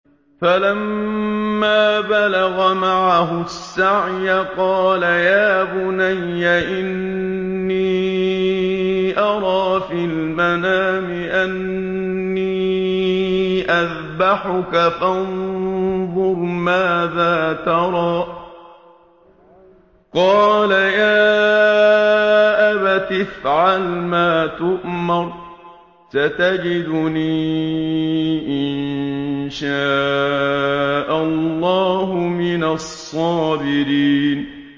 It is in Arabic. فَلَمَّا بَلَغَ مَعَهُ السَّعْيَ قَالَ يَا بُنَيَّ إِنِّي أَرَىٰ فِي الْمَنَامِ أَنِّي أَذْبَحُكَ فَانظُرْ مَاذَا تَرَىٰ ۚ قَالَ يَا أَبَتِ افْعَلْ مَا تُؤْمَرُ ۖ سَتَجِدُنِي إِن شَاءَ اللَّهُ مِنَ الصَّابِرِينَ